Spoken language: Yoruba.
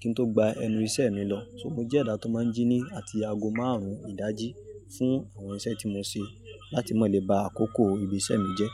kí n tó gba ẹnu ìṣe mi lọ. So mo jẹ́ ẹ̀dá tó máa ń jí ní àti ago márùn-ún ìdájí fún àwọn iṣẹ́ tí mo ń ṣe láti mó lè ba àkókò ibi iṣẹ́ mi jẹ́.